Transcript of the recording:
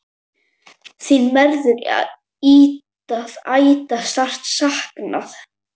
Þín verður ætíð sárt saknað.